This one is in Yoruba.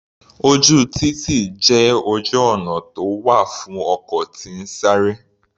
Ojú títì jẹ́ ojú ọ̀nà tó wà fún ọkọ̀ tí ń sáré.